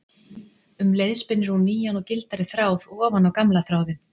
Um leið spinnur hún nýjan og gildari þráð ofan á gamla þráðinn.